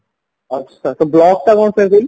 ଆଚ୍ଛା ସେ ବ୍ଲକଟା